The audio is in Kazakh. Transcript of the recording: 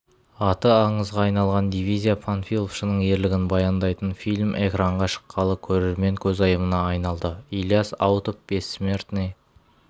аты аңызға айналған дивизия панфиловшының ерлігін баяндайтын фильм экранға шыққалы көрермен көзайымына айналды илияс аутов бессмертный